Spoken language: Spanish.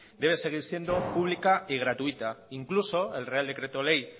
debe seguir siendo pública y gratuita incluso el real decreto ley